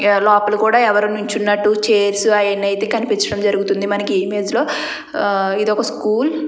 ఏ లోపల కూడా ఎవరో నించున్నట్టు చేర్స్ ఆయన్ని అయితే కనిపించడం జరుగుతుంది. ఈ ఇమేజ్ లో ఇది ఒక స్కూల్ .